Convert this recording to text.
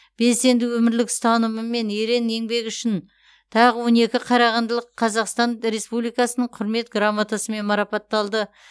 белсенді өмірлік ұстанымы мен ерен еңбегі үшін тағы он екі қарағандылық қазақстан республикасының құрмет грамоталарымен марапатталды